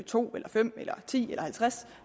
to eller fem eller ti eller halvtreds